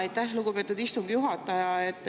Aitäh, lugupeetud istungi juhataja!